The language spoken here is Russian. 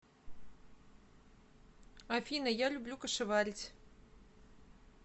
афина я люблю кашеварить